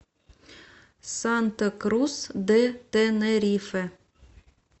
санта крус де тенерифе